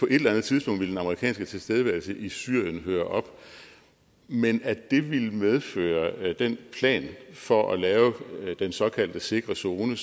et eller andet tidspunkt ville den amerikanske tilstedeværelse i syrien høre op men at det ville medføre den plan for at lave den såkaldte sikre zone